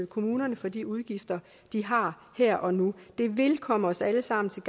kommunerne for de udgifter de har her og nu det vil komme os alle sammen til